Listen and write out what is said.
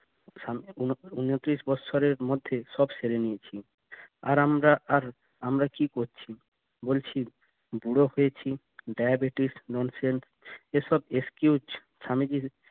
উন উনত্রিশ বৎসরের মধ্যে সব সেড়ে নিয়েছি আর আমরা আর আমরা কি করছি বলছি বুড়ো হয়েছি ডায়াবেটিস নড়ছেন এসব excuse স্বামীজির